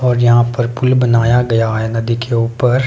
और यहां पर पुल बनाया गया है नदी के ऊपर।